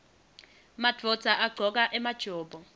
madvodza agcoka emajobo